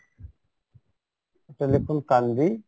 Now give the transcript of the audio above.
এটা লেখুন